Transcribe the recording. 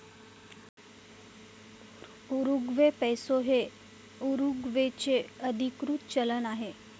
Uruguay peso हे उरुग्वेचे अधीकृत चलन आहे.